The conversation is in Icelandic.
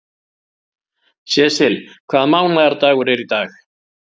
Sesil, hvaða mánaðardagur er í dag?